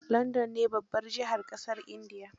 London ne babbar jihar ƙasar Ingila